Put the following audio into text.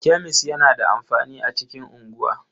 Kemis yana da amfani a cikin unguwa.